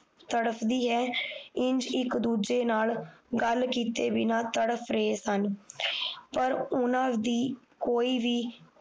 ਤੜਫਦੀ ਹੈ ਈਂਜ ਇੱਕ ਦੂਜੇ ਨਾਲ ਗੱਲ ਕੀਤੇ ਬਿਨਾਂ ਤੜਫ ਰਹੇ ਸਨ ਪਰ ਉਹਨਾਂ ਦੀ ਕੋਈ ਵੀ